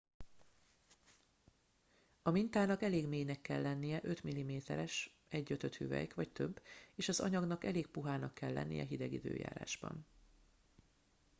a mintának elég mélynek kell lennie 5 mm-es 1/5 hüvelyk vagy több és az anyagnak elég puhának kell lennie hideg időjárásban